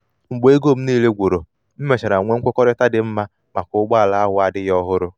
mgbe ego m niile gwuru m mechara nwee nkwekọrịta dị mma maka ụgbọ ala ahu ala ahu adighi ohuru